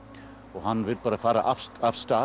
hann vill bara fara af stað